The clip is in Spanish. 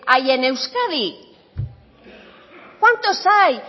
hay en euskadi cuántos hay